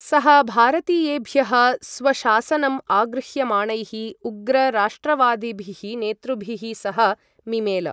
सः भारतीयेभ्यः स्वशासनम् आगृह्यमाणैः उग्र राष्ट्रवादिभिः नेतृभिः सह मिमेल।